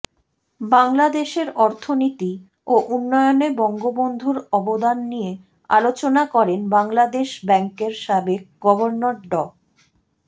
বাংলাদেশের অর্থনীতি ও উন্নয়নে বঙ্গবন্ধুর অবদান নিয়ে আলোচনা করেন বাংলাদেশ ব্যাংকের সাবেক গভর্নর ড